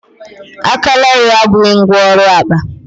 aka larịị abụghị ngwá ọrụ akpa